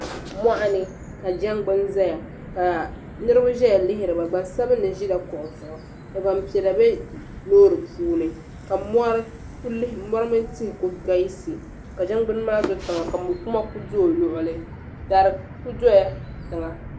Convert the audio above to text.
Mɔɣuni ka jangbuni zaya ka Niribi ʒeya lihiriba gbansabinli ʒila kuɣu zuɣu ka gbanpiɛlla be loori puuni ka mɔri mini tihi kuli galisi ka jangbuni maa do tiŋa ka mɔkuma kuli do o luɣuli dari kuli doya tiŋa.